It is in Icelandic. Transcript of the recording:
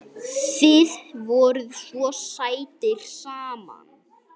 Þið voruð svo sætir saman.